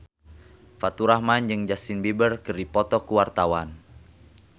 Faturrahman jeung Justin Beiber keur dipoto ku wartawan